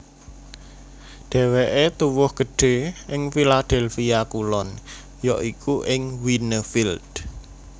Dhéwéké tuwuh gedhé ing Philadelphia Kulon ya iku ing Wynnefield